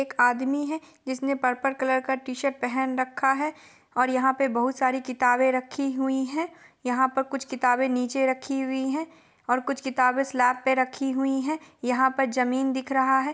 एक आदमी है जिसने पर्पल कलर का टी-शर्ट पहन रखा है और यहाँ पे बहुत सारी किताबें रखी हुई है यहाँ पर कुछ किताबें नीचे रखी हुई है और कुछ स्लैब पे रखी हुई है यहाँ पर जमीन दिख रहा है ।